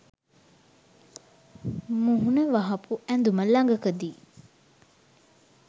මුහුණ වහපු ඇඳුම ළඟකදී